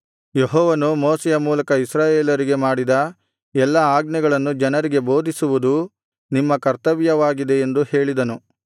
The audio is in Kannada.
ಯೆಹೋವನು ಮೋಶೆಯ ಮೂಲಕ ಇಸ್ರಾಯೇಲರಿಗೆ ಮಾಡಿದ ಎಲ್ಲಾ ಆಜ್ಞೆಗಳನ್ನು ಜನರಿಗೆ ಬೋಧಿಸುವುದೂ ನಿಮ್ಮ ಕರ್ತವ್ಯವಾಗಿದೆ ಎಂದು ಹೇಳಿದನು